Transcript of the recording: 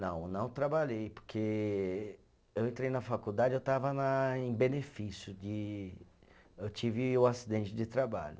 Não, não trabalhei, porque eu entrei na faculdade, eu estava na em benefício de, eu tive o acidente de trabalho.